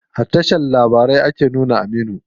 A tashar news ake nuno Aminu.